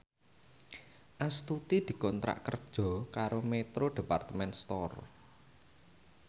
Astuti dikontrak kerja karo Metro Department Store